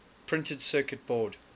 printed circuit board